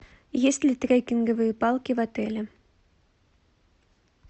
есть ли трекинговые палки в отеле